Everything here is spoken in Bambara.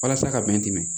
Walasa ka bɛn